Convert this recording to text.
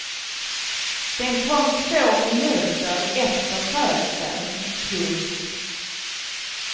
Den kom två minuter efter födseln. punkt